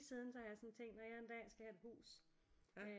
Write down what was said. Siden så har jeg sådan tænkt når jeg en dag skal have et hus